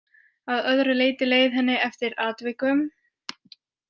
Að öðru leyti leið henni eftir atvikum.